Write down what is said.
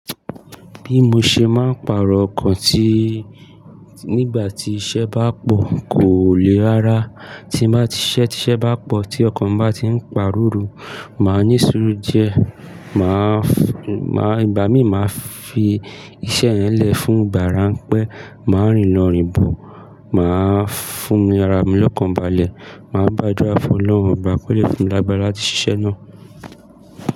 Bí mo ṣe máa ń pàrọ̀ ọkàn ti nígbà tí iṣẹ́ bá pọ̀ kò le ara. Tí ba siṣẹ́, tise bá pọ̀ tí ọkàn bá ti ń pàru ru, màá ní sùúrù diẹ, màá, ìgbà mí màá fi iṣẹ́ yẹn lẹ̀ fún ìgbà ráńpẹ́, màá rìnlo rìnbọ̀, màá fún mi ara mi lọ́kàn balẹ̀, màá gbádúra fún Ọlọ́run obà kó lè fún mi lágbára láti ṣiṣẹ́ náà.